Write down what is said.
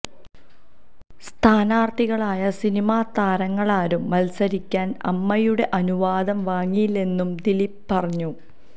സ്ഥാനാര്ഥികളായ സിനിമാ താരങ്ങളാരും മത്സരിക്കാന് അമ്മയുടെ അനുവാദം വാങ്ങിയില്ലെന്നും ദിലീപ് പറഞ്ഞു